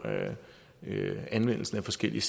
anvendelsen af forskellige